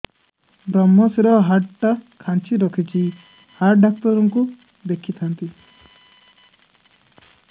ଵ୍ରମଶିର ହାଡ଼ ଟା ଖାନ୍ଚି ରଖିଛି ହାଡ଼ ଡାକ୍ତର କୁ ଦେଖିଥାନ୍ତି